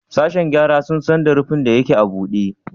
Sashen gyara sun san da rufin da yake a bude?